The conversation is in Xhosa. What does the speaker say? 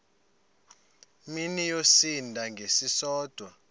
mini yosinda ngesisodwa